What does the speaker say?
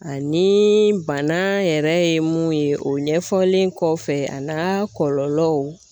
Ani bana yɛrɛ ye mun ye o ɲɛfɔlen kɔfɛ a n'a kɔlɔlɔw